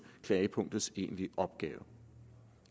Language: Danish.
klagepunktets egentlige opgave